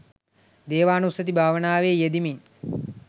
දේවානුස්සතී භාවනාවේ යෙදෙමින්